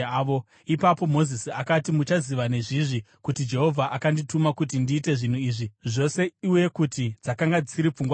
Ipapo Mozisi akati, “Muchaziva nezvizvi kuti Jehovha akandituma kuti ndiite zvinhu izvi zvose uye kuti dzakanga dzisiri pfungwa dzangu: